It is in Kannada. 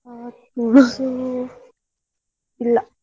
ಹಾ ತುಳು ಇಲ್ಲ.